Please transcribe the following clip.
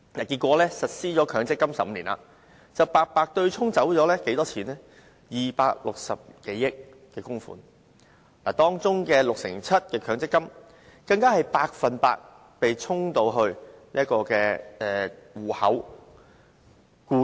結果強積金實施15年，白白對沖了260多億元供款，當中 67% 的強積金戶口，僱主供款全部被"沖"走。